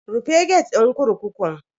Rufe gate din kurkukun.